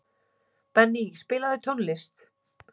Benný, spilaðu tónlist.